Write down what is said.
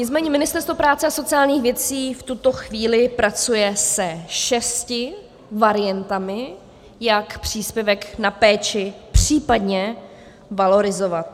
Nicméně Ministerstvo práce a sociálních věcí v tuto chvíli pracuje se šesti variantami, jak příspěvek na péči případně valorizovat.